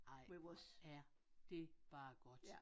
Ej hvor er det bare godt